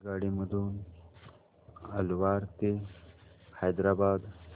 आगगाडी मधून अलवार ते हैदराबाद